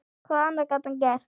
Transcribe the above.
Hvað annað gat hann gert?